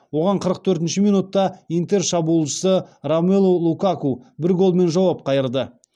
оған қырық төртінші минутта интер шабуылшысы ромелу лукаку бір голмен жауап қайырды